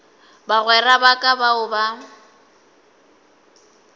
bagwera ba ka bao ba